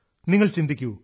നിങ്ങൾ ചിന്തിക്കൂ